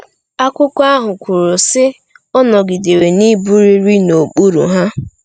Akwụkwọ ahụ kwuru, sị: “Ọ nọgidere n’ịbụrịrị n’okpuru ha.”